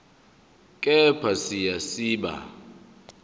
kepha siya siba